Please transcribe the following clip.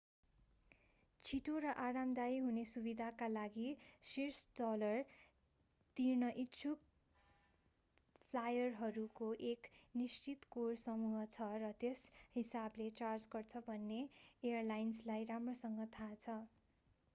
छिटो र आरामदायी हुने सुविधाका लागि शीर्ष डलर तिर्न इच्छुक फ्लायरहरूको एक निश्चित कोर समूह छ र त्यस हिसाबले चार्ज गर्छ भन्ने एयरलाइन्सलाई राम्रोसँग थाहा छ